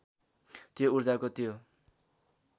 त्यो ऊर्जाको त्यो